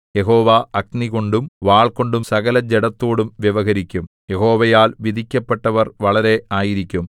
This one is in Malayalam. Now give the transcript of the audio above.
യഹോവ അഗ്നികൊണ്ടും വാൾകൊണ്ടും സകലജഡത്തോടും വ്യവഹരിക്കും യഹോവയാൽ വധിക്കപ്പെട്ടവർ വളരെ ആയിരിക്കും